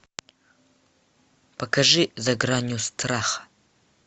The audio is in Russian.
покажи за гранью страха